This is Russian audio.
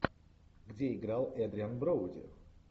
где играл эдриан броуди